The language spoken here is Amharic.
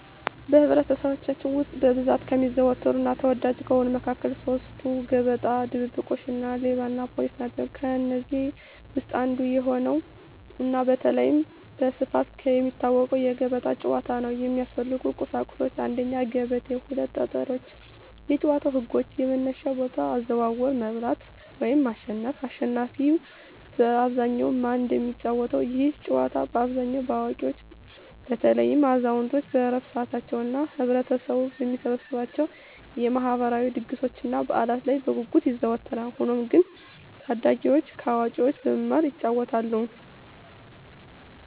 በኅብረተሰባችን ውስጥ በብዛት ከሚዘወተሩና ተወዳጅ ከሆኑት መካከል ሦስቱ፤ ገበጣ፣ ድብብቆሽ እና ሌባና ፖሊስ ናቸው። ከእነዚህ ውስጥ አንዱ የሆነውና በተለይም በስፋት የሚታወቀው የገበጣ ጨዋታ ነው። የሚያስፈልጉ ቁሳቁሶች 1; ገበቴ 2; ጠጠሮች የጨዋታው ህጎች - የመነሻ ቦታ፣ አዘዋወር፣ መብላት (ማሸነፍ)፣አሽናፊ በአብዛኛው ማን እንደሚጫወተው፤ ይህ ጨዋታ በአብዛኛው በአዋቂዎች (በተለይም አዛውንቶች በዕረፍት ሰዓታቸው) እና ህብረተሰቡ በሚሰበሰብባቸው የማህበራዊ ድግሶችና በዓላት ላይ በጉጉት ይዘወተራል። ሆኖም ግን ታዳጊዎችም ከአዋቂዎች በመማር ይጫወቱታል።